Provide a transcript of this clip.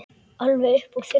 Alveg upp úr þurru?